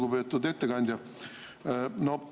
Lugupeetud ettekandja!